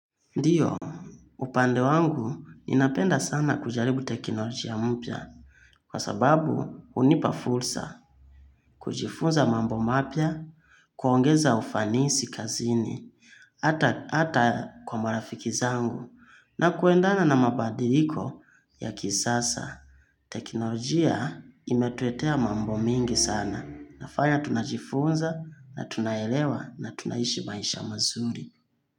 Ndiyo, upande wangu ninapenda sana kujaribu teknolojia mpya kwa sababu unipafursa, kujifunza mambo mapya, kuongeza ufanisi kazini, ata kwa marafiki zangu na kuendana na mabadiliko ya kisasa. Teknolojia imetuetea mambo mingi sana nafaya tunajifunza na tunaelewa na tunaishi baisha mazuri.